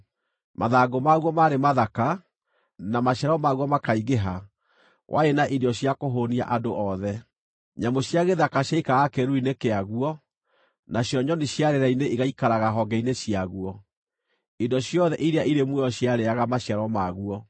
Mathangũ maguo maarĩ mathaka, na maciaro maguo makaingĩha warĩ na irio cia kũhũũnia andũ othe. Nyamũ cia gĩthaka ciaikaraga kĩĩruru-inĩ kĩaguo, nacio nyoni cia rĩera-inĩ igaikaraga honge-inĩ ciaguo; indo ciothe iria irĩ muoyo ciarĩĩaga maciaro maguo.